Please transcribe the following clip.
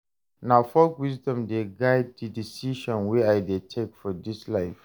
Na folk wisdom dey guide di decisions wey I dey take for dis life.